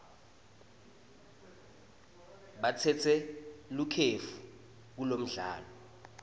batsatse likefu kulomdlalo